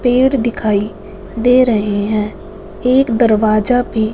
पेड़ दिखाइ दे रहे हैं एक दरवाजा भी--